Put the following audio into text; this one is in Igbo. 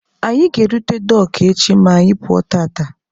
Anyị ga-erute Dọọkụ echi ma anyị pụọ tata.